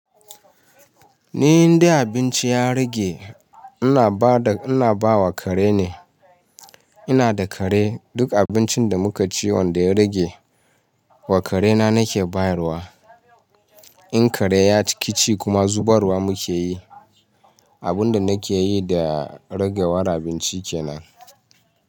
Ni inda abinci ya rage ina ba wa kare ne. Ina da kare, duk abincin da muka ci wanda ya rage wa kare na nake bayarwa. In kare ya ƙici kuma zubarwa muke yi. Abun da nake yi da ragewar abinci ke nan.